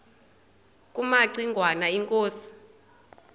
kumaci ngwana inkosi